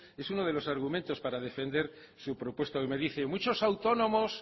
es uno de los argumentos para defender su propuesta hoy me dice muchos autónomos